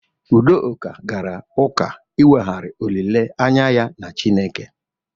Udoka gara ụka inweghari olile anya ya na Chineke.